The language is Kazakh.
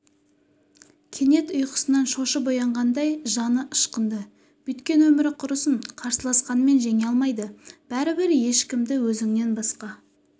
кенет ұйқысынан шошып оянғандай жаны ышқынды бүйткен өмірі құрысын қарсыласқанмен жеңе алмайды бәрібір ешкімді өзңнен басқа